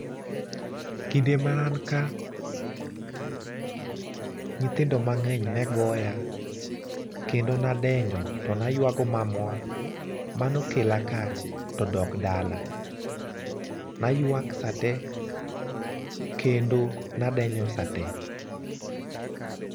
Kinde mananka, nyithindo mang'eny negoya kendo nadenyo to naywago mamwa manokela ka todok dala. Naywak sate kendo nadenyo sate.